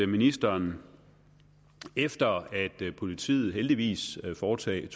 ministeren efter at politiet heldigvis havde foretaget